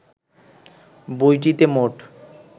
বইটিতে মোট